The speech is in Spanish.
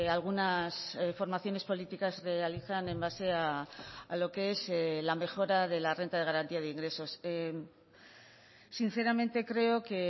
algunas formaciones políticas realizan en base a lo que es la mejora de la renta de garantía de ingresos sinceramente creo que